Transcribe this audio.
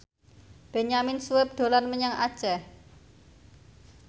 Benyamin Sueb dolan menyang Aceh